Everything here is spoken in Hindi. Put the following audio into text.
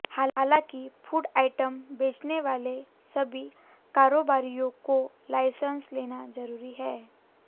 हालांकि फूड आइटम बेचने वाले सभी कारोबारियों को लाइसेंस लेना जरूरी है